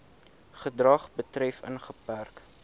gedrag betref ingeperk